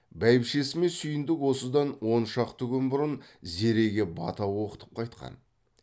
бәйбішесі мен сүйіндік осыдан он шақты күн бұрын зереге бата оқытып қайтқан